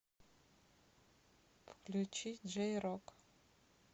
включи джей рок